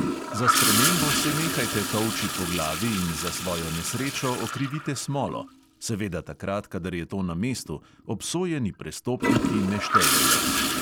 Za spremembo se nehajte tolči po glavi in za svojo nesrečo okrivite smolo … seveda takrat, kadar je to na mestu, obsojeni prestopniki ne štejejo.